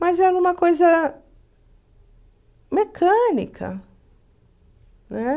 Mas era uma coisa mecânica, né?